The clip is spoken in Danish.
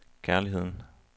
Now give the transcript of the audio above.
kærligheden